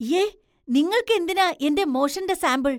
യ്യേ. നിങ്ങൾക്ക് എന്തിനാ എന്‍റെ മോഷന്‍റെ സാമ്പിൾ ?